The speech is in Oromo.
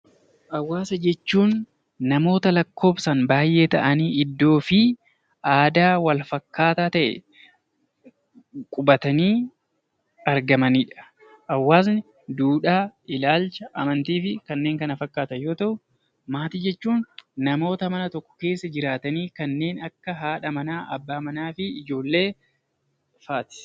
Hawwaasa jechuun namootaa lakkoofsaan baay'ee ta'anii iddoo fi aadaa wal fakkaataa ta'een qubatanii argamanidha. Hawwaasni duudhaa, amantii, ilaalchaa fi kanneen kana fakkaatan yoo ta’u, maatii jechuun namoota mana tokko keessa jiraatan kanneen akka haadha mannaa, abbaa manaa fi ijoollee fa'aati.